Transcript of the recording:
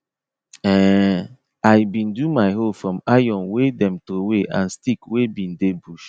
um i bin do my hoe from iron wey them throwaway and stick wey bin dey bush